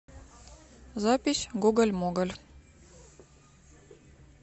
запись гоголь моголь